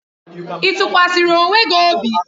Ị tụkwasara onwe gị obi?